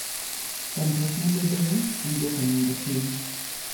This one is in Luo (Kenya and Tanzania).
Chandruok mabedoe en dwoko nengo piny.